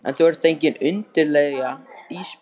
En þú ert engin undirlægja Ísbjörg.